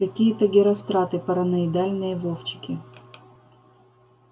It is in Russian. какие-то геростраты параноидальные вовчики